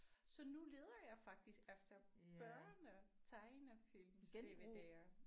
Så nu leder jeg faktisk efter børne tegnefilms DVD'er